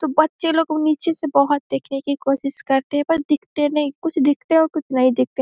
तो बच्चे लोग उ नीचे से बहुत देखने की कोशिश करतें हैं पर दिखते नही कुछ दिखते हैं और कुछ नही दिखते।